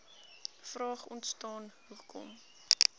vraag ontstaan hoekom